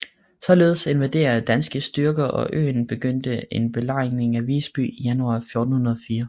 Således invaderede danske styrker øen og begyndte en belejring af Visby i januar 1404